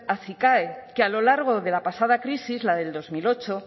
acicae que a lo largo de la pasada crisis la de dos mil ocho